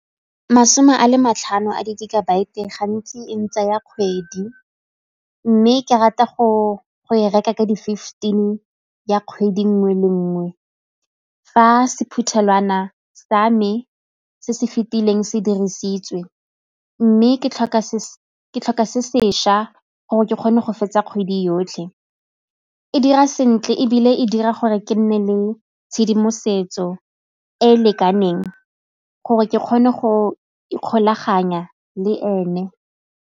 Masome a le matlhano a di-gigabyte gantsi e ntsaya kgwedi mme ke rata go e reka ka di-fifteen ya kgwedi nngwe le nngwe. Fa sephuthelwana sa me se se fetileng se dirisitswe mme ke tlhoka sešwa gore ke kgone go fetsa kgwedi yotlhe. E dira sentle ebile e dira gore ke nne le tshedimosetso e e lekaneng gore ke kgone go ikgolaganya le ene.